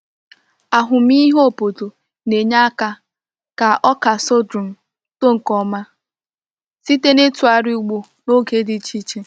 Ahụmịhe obodo na-enye aka ka ọka sorghum too nke ọma site n’itughari ugbo n’oge dị iche iche.